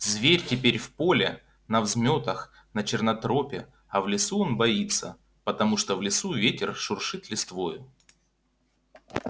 зверь теперь в поле на взмётах на чёрнотропе а в лесу он боится потому что в лесу ветер шуршит листвою